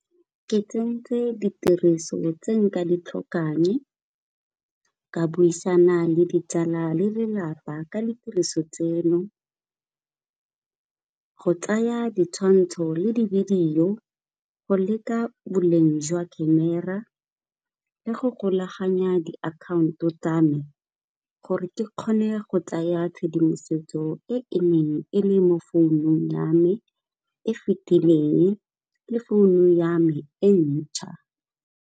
Ke tsentse ditiriso tse nka di tlhokang ka buisana le ditsala le lelapa ka ditiriso tseno, go tsaya ditshwantsho le di-video go leka boleng jwa camera le go golaganya diakhaonto tsame, gore ke kgone go tsaya tshedimosetso e e neng e le mo founung ya me e fetileng le founu ya me entšha.